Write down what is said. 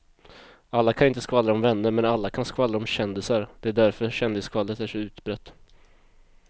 Alla kan inte skvallra om vänner men alla kan skvallra om kändisar, det är därför kändisskvallret är så utbrett.